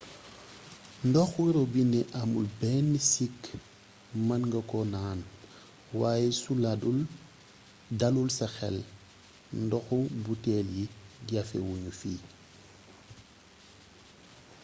ndoxo robinet amul benn sikk mën nga ko naan waaye su dalul sa xel ndoxu buteel yi jafe wuñu fi